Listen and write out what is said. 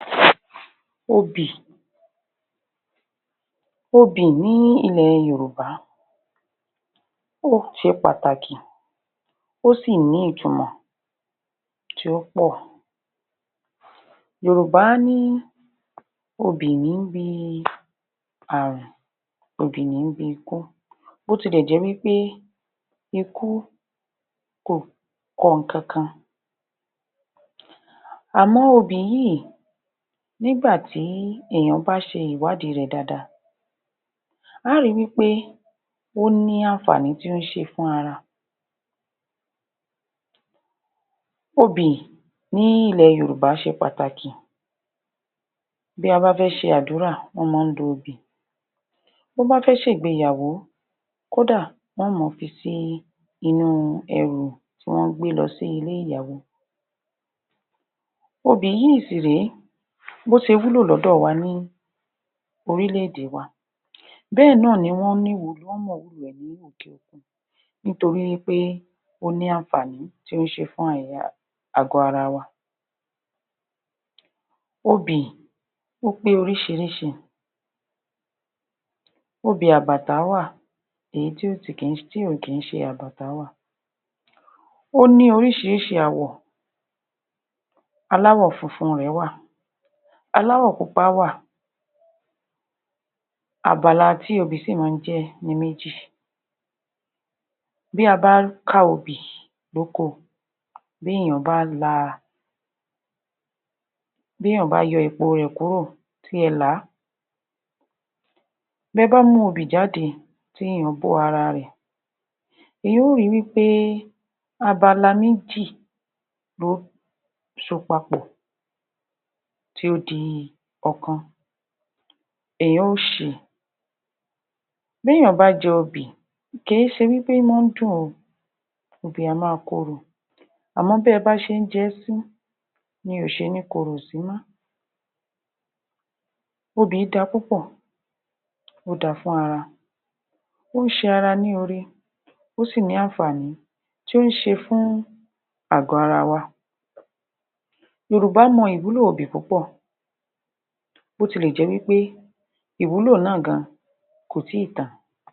obì Obì ní ilẹ̀ Yorùbá ṣe pàtàkì ó sì ní ìtumọ̀ tí ó pọ̀ yorùbá ní obì ní ń bi àrùn obì ní ń bi ikú bí ó tilẹ̀ jẹ́ wí pé ikú ò kọ nǹkankan àmọ́ obì yìí nígbà tí èèyàn bá ṣe ìwádìí rẹ̀ dáadáa a ó ri wí pé ó ní àaǹfààní tí ó ń ṣe fú ara Obì ní ilẹ̀ Yorùbá ṣe pàtàkì bí a bá fẹ́ ṣe àdúrà wọ́n máa ń da obì bí wọ́n bá fẹ́ ṣe ìgbéyàwó kódà, wọn ó máa fi sí inú ẹrù tí wọ́n ń gbé lọ sí ilé ìyàwó obì yìí sì rèé bí ó ṣe wúlò lọ́dọ̀ wa ní orílẹ̀-èdè wa bẹ́ẹ̀ náà ni wọ́n mọ ìwúlò rẹ̀ ní òkè-òkun nítorí wí pé ó ní àǹfààní tí ó ń ṣe fún àwọn àgbò ara wa obì, ó pé oríṣiríṣi obì àbàtà wà èyí tí ò kí ń ṣe àbàtà wà ó ní oríṣiríṣi àwọ̀ aláwọ̀ funfun rẹ̀ wà, aláwọ̀ pupa wà abala tí obì sì máa ń jẹ́ ní méjì bí a bá ká obì ní oko bí èèeyàn bá la bí èèyàn bá yọ obì rẹ̀ kúrò tí ẹ là á bí ẹ bá mú obì jáde tí ẹ bó ara rẹ̀ èèyàn ó ri wí pé abala méjì ló so papọ̀ tí ó di ọ̀kan èèyàn ó ṣi bí èèyàn bá jẹ obì kì í se wípé ó máa ń dùn o obì á máa korò àmọ́ bí ẹ bá ṣe ń jẹ́ sí ni kò ṣe ní korò sí mọ́ obì dára púpọ̀ ó dáa fún ara ó ń ṣe ara ní oore ó sì ní àǹfàní tó ń ṣe fún àgò ara wa yorùbá mọ ìwúlò obì púpọ̀ bí ó tilẹ̀ jé wí pé ìwúlò náà gan an kò tí ì tán